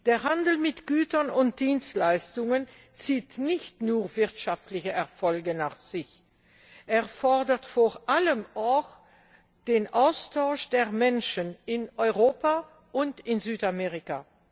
Der Handel mit Gütern und Dienstleistungen zieht nicht nur wirtschaftliche Erfolge nach sich, er erfordert vor allem auch den Austausch der Menschen in Europa und in Südamerika.